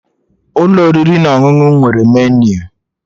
Ụlọ oriri na ọṅụṅụ nwere meniu